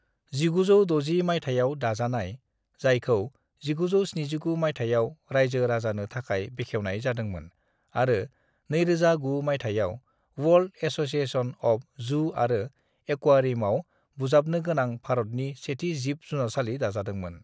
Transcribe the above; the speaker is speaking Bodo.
"1960 मायथाइयाव दाजानाय, जायखौ 1979 मायथाइयाव रायजो-राजानो थाखाय बेखेवनाय जादोंमोन आरो 2009 मायथाइयाव वर्ल्ड एस'सिएशन अफ जु आरो एक्वेरियामआव बुजाबनोगोनां भारतनि सेथि जिब-जुनारसालि दाजादोंमोन।"